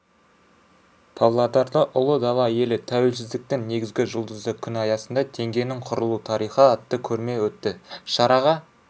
павлодарда ұлы дала елі тәуелсіздіктің негізі жұлдызды күн аясында теңгенің құрылу тарихы атты көрме өтті шараға